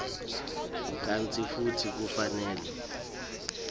kantsi futsi kufanele